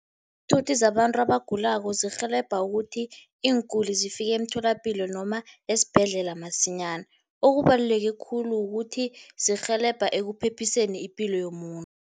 Iinthuthi zabantu abagulako zirhelebha ukuthi, iinguli zifike emtholapilo noma esibhedlela masinyana. Okubaluleke khulu ukuthi zirhelebha ekuphephiseni ipilo yomuntu.